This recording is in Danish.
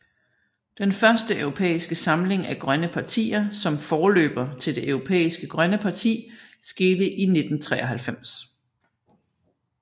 Den første europæiske samling af grønne partier som forløber til Det Europæiske Grønne Parti skete i 1993